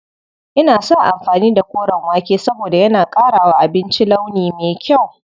Ina son amfani da koren wake saboda yana ƙara wa abinci launi me kyau.